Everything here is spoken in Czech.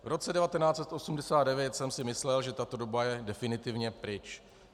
V roce 1989 jsem si myslel, že tato doba je definitivně pryč.